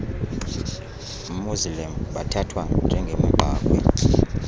muslim bathathwa njengemigqakhwe